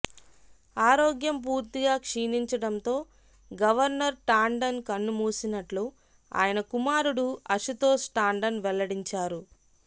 ఆరోగ్యం పూర్తిగా క్షీణించడంతో గవర్నర్ టాండన్ కన్ను మూసినట్లు ఆయన కుమారుడు అశుతోష్ టాండన్ వెల్లడించారు